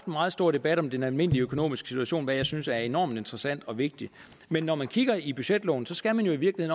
meget stor debat om den almindelige økonomiske situation hvad jeg synes er enormt interessant og vigtigt men når man kigger i budgetloven skal man jo i